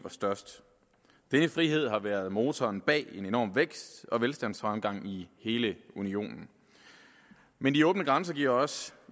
er størst denne frihed har været motoren bag en enorm vækst og velstandsfremgang i hele unionen men de åbne grænser giver også